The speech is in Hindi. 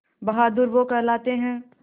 बहादुर वो कहलाते हैं